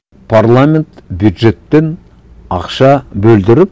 парламент бюджеттен ақша бөлдіріп